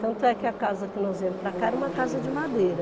Tanto é que a casa que nós viemos para cá era uma casa de madeira.